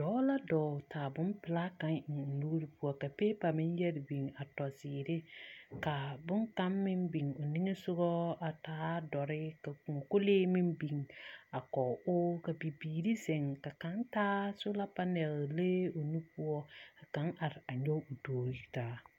Dɔɔ la dɔɔ taa bompelaa kaŋ eŋ nuuri poɔ ka peepa meŋ yɛre biŋ a tɔ zeere ka bone kaŋ meŋ biŋo niŋe soga a taa dɔre ka kõɔ kolee meŋ biŋ a kɔge o ka bibiiri zeŋ ka kaŋ taa sola panɛl lee o nu poɔ ka kaŋ are a nyɔge o toori.